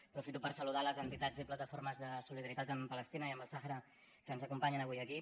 aprofito per saludar les entitats i plataformes de solidaritat amb palestina i amb el sàhara que ens acompanyen avui aquí